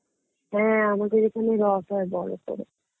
হ্যাঁ আমাদের এখানে রথ হয় বড় করে